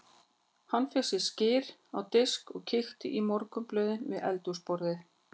Hann fékk sér skyr á disk og kíkti í morgunblöðin við eldhúsborðið.